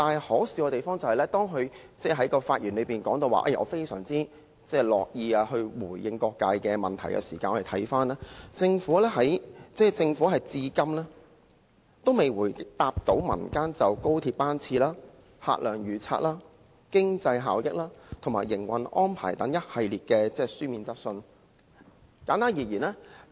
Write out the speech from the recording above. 可笑之處是，他在發言中提到自己相當樂意回答各界的問題，但我們看到政府至今其實也未曾答覆過民間就着高鐵班次、客量預測、經濟效益及營運安排等一系列書面質詢。